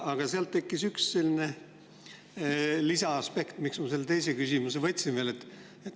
Aga seal tekkis üks lisaaspekt ja see on põhjus, miks ma kasutan võimalust esitada veel teine küsimus.